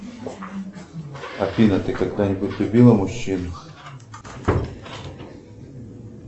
афина ты когда нибудь любила мужчин